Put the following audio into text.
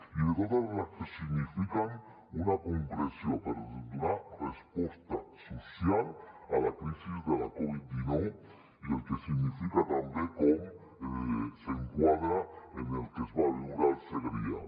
i de totes les que signifiquen una concreció per donar resposta social a la crisi de la covid dinou i el que significa també com s’enquadra en el que es va viure al segrià